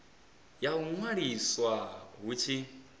ya u ṅwaliswa hu tshi